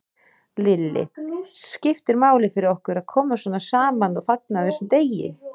Lillý: Skiptir máli fyrir okkur að koma svona saman og fagna á þessum degi?